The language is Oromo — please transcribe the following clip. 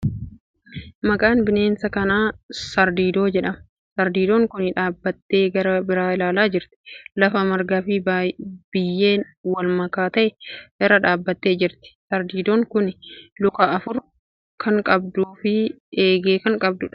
Maqaan bineensa kanaa Sardiidoo jedhama. Sardiidoon kuni dhaabbattee gara biraa ilaalaa jirti. Lafa marga fi biyyeen walmakaa ta'e irra dhaabbattee jirti. Sardiidoon kuni luka afur kan qabduu fi eegee kan qabduudha.